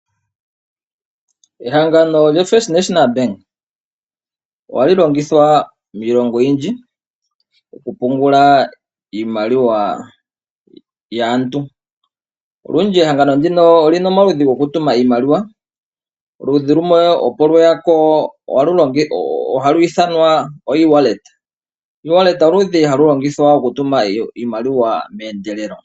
Ehangano lyoFirst National Bank ohali longithwa miilongo oyindji oku pungula iimaliwa yaantu. Olundji ehangano ndino olyina omaludhi gokutuma iimaliwa, oludhi lumwe opo lweya ko halu ithanwa oewallet, oewallet oludhi halu longithwa okutuma iimaliwa meendeelelo.